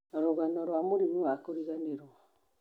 rũgano rwa mũrimũ wa kũriganĩrwo